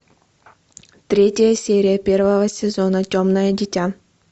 третья серия первого сезона темное дитя